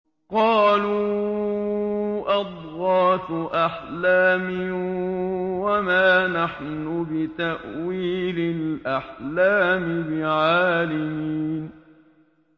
قَالُوا أَضْغَاثُ أَحْلَامٍ ۖ وَمَا نَحْنُ بِتَأْوِيلِ الْأَحْلَامِ بِعَالِمِينَ